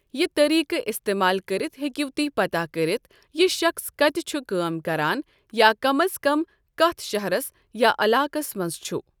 یہِ طٔریٖقہٕ استعمال کٔرِتھ ہٮ۪کِو تُہۍ پتاہ كرِتھ یہِ شخٕص کَتہِ چھُ کٲم کران یا کم از کم کَتھ شہرَس یا علاقَس منٛز چھُ ۔